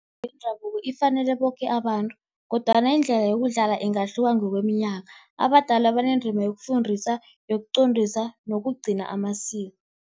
yendabuko ifanele boke abantu, kodwana indlela yokudlala ingahluka ngokweminyaka. Abadala banendima yokufundisa, yokuqondisa nokugcina amasiko.